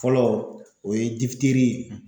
Fɔlɔ o ye